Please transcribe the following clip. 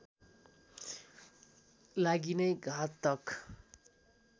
लागि नै घातक